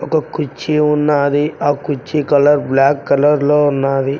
ఒక కుర్చీ ఉన్నాది ఆ కుర్చీ కలర్ బ్లాక్ కలర్ లో ఉన్నాది.